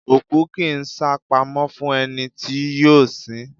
òkú kì í sápamọ́ fún ẹni tí yóò sin ín